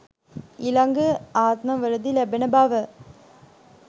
ඊළඟ ආත්මවලදී ලැබෙන බව